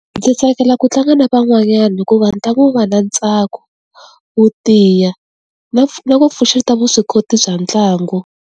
Ndzi tsakela ku tlanga na van'wanyana hikuva ntlangu wu va na ntsako wo tiya na na ku pfuxeta vuswikoti bya ntlangu.